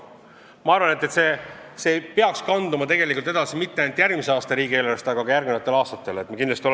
Ma arvan, et see ei peaks kanduma edasi mitte ainult 2019. aasta riigieelarvesse, vaid ka järgmiste aastate omasse.